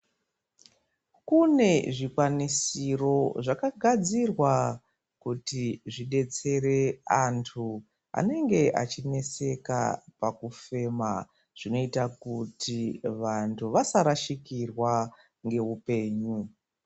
Kune zvikwanisiro zvakagadzirwa kuti zvidetsere antu anenge echineseka pakufema zvinoita kuti vantu vasarashikirwa ngeupenyu.